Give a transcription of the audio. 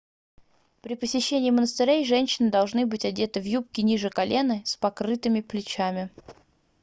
при посещении монастырей женщины должны быть одеты в юбки ниже колена и с покрытыми плечами